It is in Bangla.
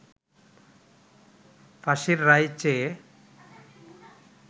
ফাঁসির রায় চেয়ে